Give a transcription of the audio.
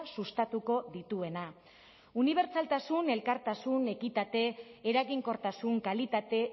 sustatuko dituena unibertsaltasun elkartasun ekitate eraginkortasun kalitate